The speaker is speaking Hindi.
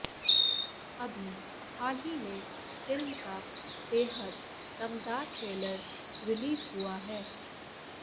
अभी हाल ही में फिल्म का बेहद दमदार ट्रेलर रिलीज हुआ है